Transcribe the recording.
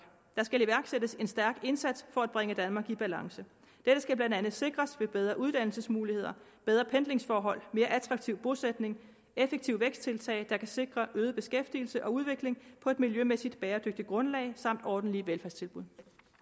der skal iværksættes en stærk indsats for at bringe danmark i balance dette skal blandt andet sikres ved bedre uddannelsesmuligheder bedre pendlingsforhold mere attraktiv bosætning effektive væksttiltag der kan sikre øget beskæftigelse og udvikling på et miljømæssigt bæredygtigt grundlag samt ordentlige velfærdstilbud